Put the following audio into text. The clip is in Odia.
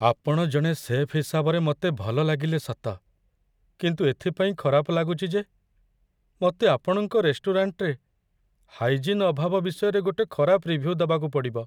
ଆପଣ ଜଣେ ଶେଫ୍ ହିସାବରେ ମତେ ଭଲ ଲାଗିଲେ ସତ, କିନ୍ତୁ ଏଥିପାଇଁ ଖରାପ ଲାଗୁଚି ଯେ ମତେ ଆପଣଙ୍କ ରେଷ୍ଟୁରାଣ୍ଟରେ ହାଇଜିନ୍ ଅଭାବ ବିଷୟରେ ଗୋଟେ ଖରାପ ରିଭ୍ୟୁ ଦବାକୁ ପଡ଼ିବ ।